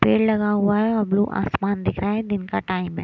पेड़ लगा हुआ है और ब्लू आसमान दिख रहा है दिन का टाइम है।